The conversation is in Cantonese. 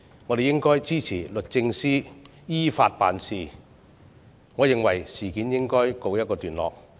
我們應該支持律政司依法辦事，而事件也應該告一段落。